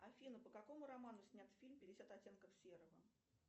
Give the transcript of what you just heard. афина по какому роману снят фильм пятьдесят оттенков серого